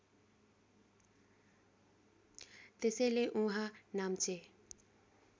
त्यसैले उहाँ नाम्चे